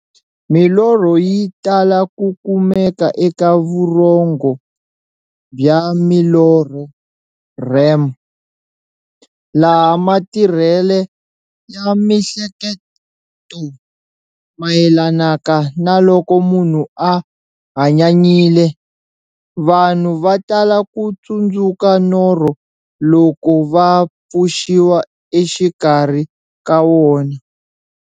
Milorho yi tala ku kumeka eka vurhongo bya milorho, REM, laha matirhele ya miehleketo mayelanaka na loko munhu a hanyanyile. Vanhu va tala ku tsundzuka norho loko va pfuxiwa exikarhi ka wona.